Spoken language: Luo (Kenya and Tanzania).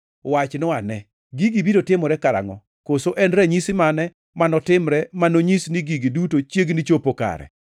“Wachnwa ane, gigi biro timore karangʼo, koso en ranyisi mane manotimre ma nonyis ni gigi duto chiegni chopo kare?”